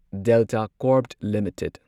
Delta Corp limited